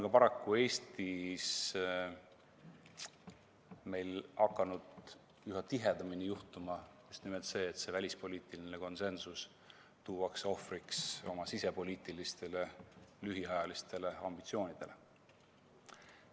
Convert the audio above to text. Ka paraku meil Eestis on hakanud üha tihedamini juhtuma just nimelt seda, et välispoliitiline konsensus tuuakse ohvriks oma lühiajalistele sisepoliitilistele ambitsioonidele.